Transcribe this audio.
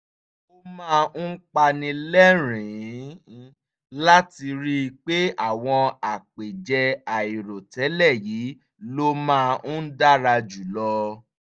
ó máa ń pani lẹ́rìn-ín láti rí i pé àwọn àpèjẹ àìròtẹ́lẹ̀ yìí ló máa ń dára jù lọ